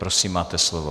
Prosím, máte slovo.